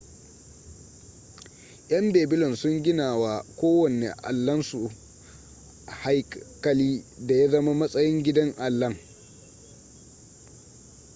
yan babylon sun gina wa kowanne allansu haikali da ya zama matsayin gidan allan